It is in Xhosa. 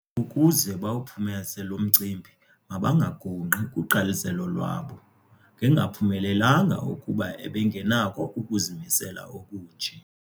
Ukuze bawuphumeze lo mcimbi mabangagungqi kuqaliselo lwabo. Ngengaphumelelanga ukuba ebengenakho ukuzimisela okunje.